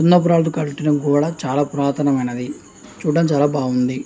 చాలా పురాతన మైనది చూడదానికి చాలా బాగుంది.